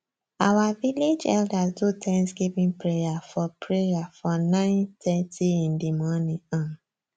our village elders do thanskgiving prayer for prayer for nine thirty in di morning um